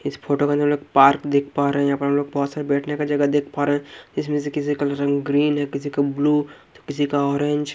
इस फोटो के अंदर हम लोग पार्क देख पा रहे हैं यहां बहुत बैठने का जगह देख पा रहे हैं इसमें से किसी का रंग ग्रीन है किसी का ब्लू किसी का ऑरेंज --